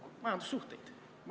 Ma küsin aega juurde ka.